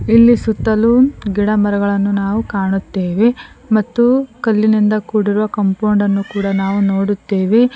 ಇಲ್ಲಿ ಸುತ್ತಲೂ ಗಿಡ ಮರಗಳನ್ನು ನಾವು ಕಾಣುತ್ತೇವೆ ಮತ್ತು ಕಲ್ಲಿನಿಂದ ಕೂಡಿರುವ ಕಂಪೌಂಡ್ ಅನ್ನು ಕೂಡ ನಾವು ನೋಡುತ್ತೇವೆ.